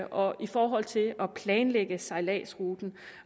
og i forhold til at planlægge sejladsruten